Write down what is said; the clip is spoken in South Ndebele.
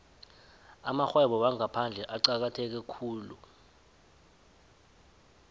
amarhwebo wangaphandle acakatheke khulu